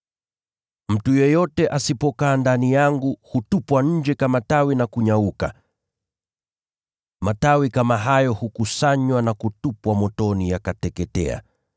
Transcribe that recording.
Mtu yeyote asipokaa ndani yangu, hutupwa nje kama tawi na kunyauka. Matawi kama hayo hukusanywa na kutupwa motoni, yakateketea.